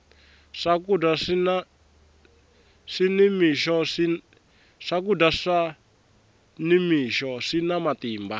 swakudya swa ni mixo swina matimba